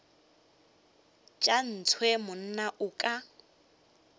tša ntshe monna o ka